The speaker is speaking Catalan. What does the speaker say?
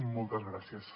moltes gràcies